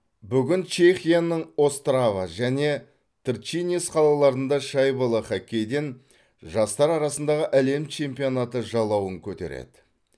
бүгін чехияның острава және тршинец қалаларында шайбалы хоккейден жастар арасындағы әлем чемпионаты жалауын көтереді